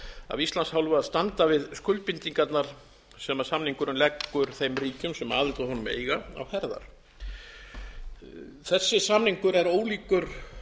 af íslands hálfu að standa við skuldbindingarnar sem samningurinn leggur þeim ríkjum sem aðild að honum eiga á herðar þessi samningur er ólíkur